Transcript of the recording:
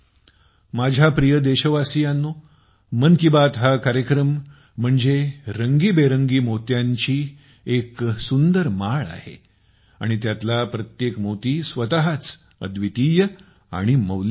माझ्या प्रिय देशवासियांनो मन की बात हा कार्यक्रम म्हणजे रंगबिरंगी मोत्यांची बनलेली एक माळ आहे आणि त्यातला प्रत्येक मोती स्वतःच अद्वितीय आणि मौल्यवान आहे